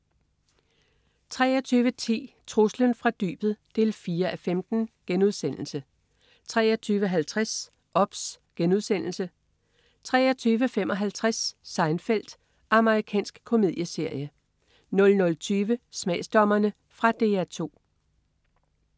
23.10 Truslen fra dybet 4:15* 23.50 OBS* 23.55 Seinfeld. Amerikansk komedieserie 00.20 Smagsdommerne. Fra DR 2